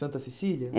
Santa Cecília? É